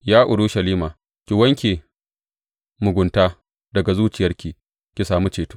Ya Urushalima, ki wanke mugunta daga zuciyarki ki sami ceto.